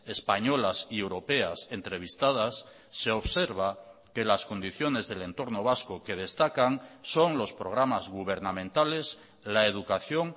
españolas y europeas entrevistadas se observa que las condiciones del entorno vasco que destacan son los programas gubernamentales la educación